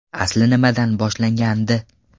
Asli nimadan boshlangandi?